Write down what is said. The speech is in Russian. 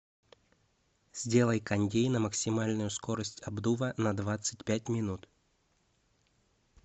сделай кондей на максимальную скорость обдува на двадцать пять минут